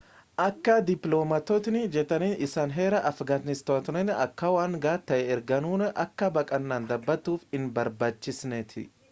akka dippilomaatootni jedhanitti isaan heera afgaanistanoota akka waan ga'aa ta'ee argaaniruu akka baqaannan dhabatuuf hin barbaachisneetti